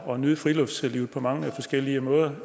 og nyde friluftslivet på mange forskellige måder